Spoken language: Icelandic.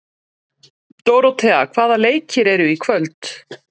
Dóróthea, hvaða leikir eru í kvöld?